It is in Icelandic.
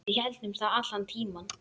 Við héldum það allan tímann.